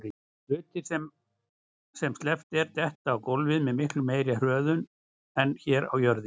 Hlutir sem sleppt er detta á gólfið með miklu meiri hröðun en hér á jörðinni.